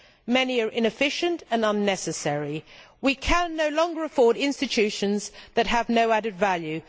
Many are inefficient and unnecessary. We can no longer afford institutions that have no added value.